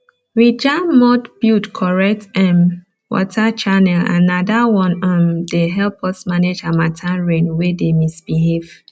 we jam mud build correct um water channel and na that one um dey help us manage harmattan rain wey dey misbehave